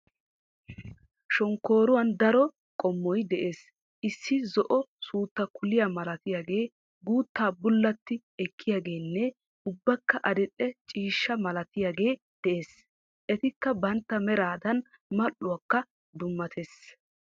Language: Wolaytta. Shomkkooruwan daro qommoy des. Issi zo'uwa suutta kuliya malatiyagee, guuttaa bullatto ekkiyaageenne unbakka adil'e ciishsha malatiyagee des. Etikka bantta meraadan mal'iuwaakka dummates.